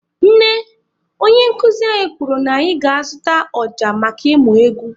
Nne, onye nkụzi anyị kwuru na anyị ga-azụta ọja maka ịmụ egwu.